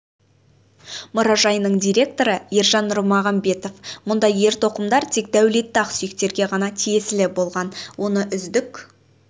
мұражайының директоры ержан нұрмағамбетов мұндай ер тоқымдар тек дәулетті ақсүйектерге ғана тиесілі болған оны үздік